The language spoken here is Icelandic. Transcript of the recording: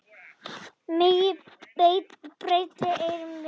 Megi betri eyrun vinna.